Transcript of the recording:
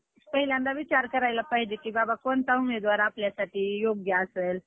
हम्म आणि मग त्यानंतरनं परत return ticket, return होतं आमचं, तिचं चौथ्या दिवशी संध्याकाळी काहीतरी होत वाटतं